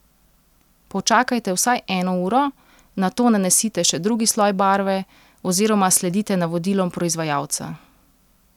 Počakajte vsaj eno uro, nato nanesite še drugi sloj barve oziroma sledite navodilom proizvajalca.